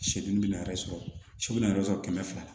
Seli bɛna yɛrɛ sɔrɔ su bɛna yɛrɛ sɔrɔ kɛmɛ fila